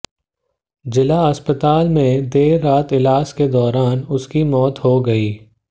जिला अस्पताल में देर रात इलाज के दौरान उसकी मौत हो गई